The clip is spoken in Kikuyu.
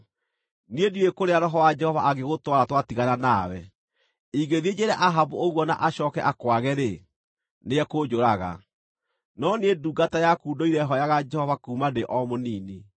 Niĩ ndiũĩ kũrĩa Roho wa Jehova angĩgũtwara twatigana nawe. Ingĩthiĩ njĩĩre Ahabu ũguo na acooke akwage-rĩ, nĩekũnjũraga. No niĩ ndungata yaku ndũire hooyaga Jehova kuuma ndĩ o mũnini.